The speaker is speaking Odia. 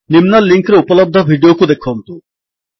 ନିମ୍ନ ଲିଙ୍କ୍ ରେ ଉପଲବ୍ଧ ଭିଡିଓକୁ ଦେଖନ୍ତୁ